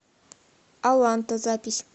аланта запись